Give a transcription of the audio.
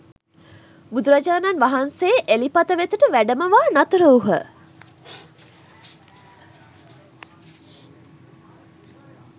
බුදුරජාණන් වහන්සේ එළිපත වෙතට වැඩමවා නතර වූහ.